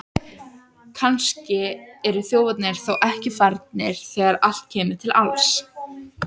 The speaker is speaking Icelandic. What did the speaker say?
Kannski eru þjófarnir þá ekki farnir þegar allt kemur til alls!